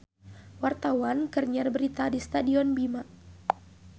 Wartawan keur nyiar berita di Stadion Bima